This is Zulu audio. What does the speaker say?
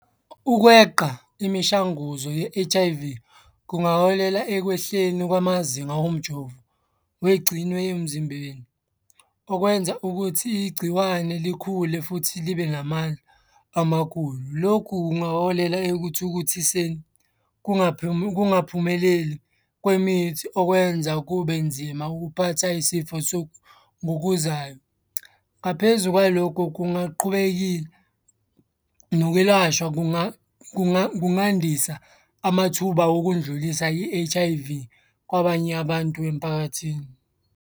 Ukweqa imishanguzo ye-H_I_V kungaholela ekwehleni kwamazinga omjovo, wegcinwe emzimbeni. Okwenza ukuthi igciwane likhule futhi libe namandla amakhulu. Lokhu kungaholela ekuthukuthiseni kungaphumeleli kwemithi okwenza kube nzima ukuphatha yisifo ngokuzayo. Ngaphezu kwalokho kungaqhubeki nokwelashwa kungandisa amathuba okundlulisa i-H_I_V kwabanye abantu emphakathini.